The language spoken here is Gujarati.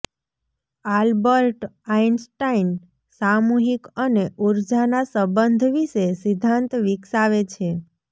આલ્બર્ટ આઇન્સ્ટાઇન સામૂહિક અને ઊર્જાના સંબંધ વિશે સિદ્ધાંત વિકસાવે છે